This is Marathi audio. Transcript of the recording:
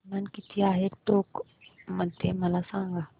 तापमान किती आहे टोंक मध्ये मला सांगा